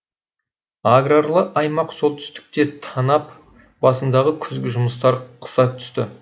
аграрлы аймақ солтүстікте танап басындағы күзгі жұмыстар қыза түсті